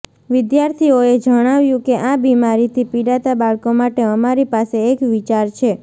વિદ્યાર્થીએ જણાંવ્યું કે આ બિમારી થી પીડાતા બાળકો માટે અમારી પાસે એક વિચાર છે